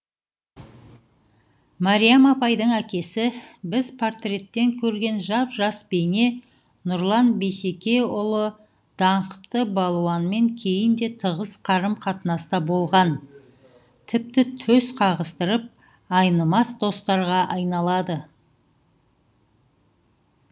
мариям апайдың әкесі біз портреттен көрген жап жас бейне нұрлан бисекеұлы даңқты балуанмен кейін де тығыз қарым қатынаста болған тіпті төс қағыстырып айнымас достарға айналады